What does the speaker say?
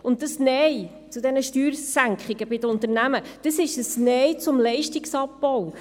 Und dieses Nein zu diesen Steuersenkungen bei den Unternehmen, das ist ein Nein zum Leistungsabbau.